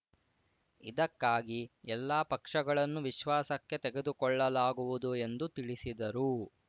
ಇದಕ್ಕಾಗಿ ಎಲ್ಲಾ ಪಕ್ಷಗಳನ್ನು ವಿಶ್ವಾಸಕ್ಕೆ ತೆಗೆದುಕೊಳ್ಳಲಾಗುವುದು ಎಂದು ತಿಳಿಸಿದರು